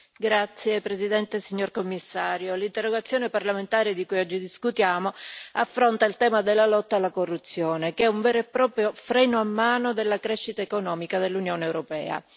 Signora Presidente, onorevoli colleghi, signor Commissario, l'interrogazione parlamentare di cui oggi discutiamo affronta il tema della lotta alla corruzione, che è un vero e proprio freno a mano della crescita economica dell'Unione europea.